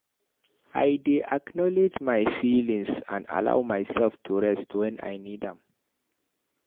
I dey acknowledge my feelings and allow myself to rest when I need am.